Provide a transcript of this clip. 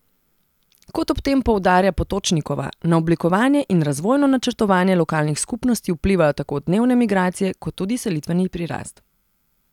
Kot ob tem poudarja Potočnikova, na oblikovanje in razvojno načrtovanje lokalnih skupnosti vplivajo tako dnevne migracije kot tudi selitveni prirast.